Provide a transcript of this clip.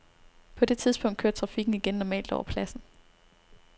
På det tidspunkt kørte trafikken igen normalt over pladsen.